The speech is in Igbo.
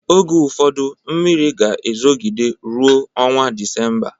Oge ụfọdu mmiri ga-ezogide ruo ọnwa Disemba